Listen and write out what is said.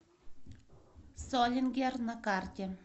солингер на карте